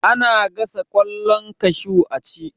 Ana gasa ƙwallon kashu a ci